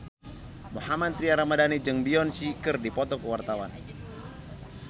Mohammad Tria Ramadhani jeung Beyonce keur dipoto ku wartawan